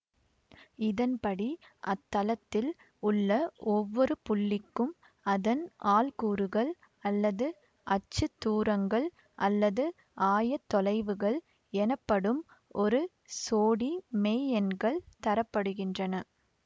இதன்படி அத்தளத்தில் உள்ள ஒவ்வொரு புள்ளிக்கும் அதன் ஆள்கூறுகள் அல்லது அச்சுதூரங்கள் அல்லது ஆயதொலைவுகள் எனப்படும் ஒரு சோடி மெய்யெண்கள் தரப்படுகின்றன